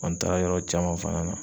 n taara yɔrɔ caman fana na.